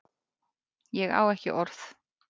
Ég á ekki orð